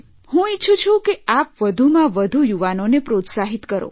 હું ઇચ્છું છું કે આપ વધુમાં વધુ યુવાનોને પ્રોત્સાહિત કરો